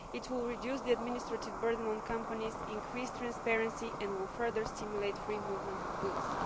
It will reduce the administrative burden on companies, increase transparency and further stimulate free movement of goods.